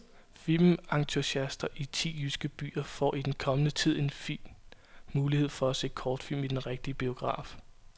Filmentusiaster i ti jyske byer får i den kommende tid en fin mulighed for at se kortfilm i den rigtige biograf.